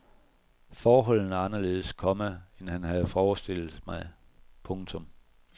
Forholdene er anderledes, komma end han havde forestillet mig. punktum